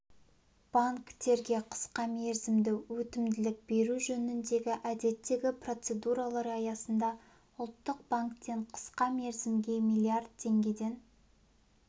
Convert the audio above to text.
банктерге қысқа мерзімді өтімділік беру жөніндегі әдеттегі процедуралар аясында ұлттық банктен қысқа мерзімге миллиард теңгеден